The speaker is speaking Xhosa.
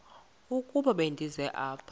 ukuba ndize apha